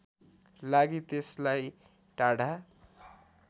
लागि त्यसलाई टाढा